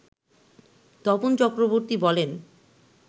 তপন চক্রবর্তী বলেন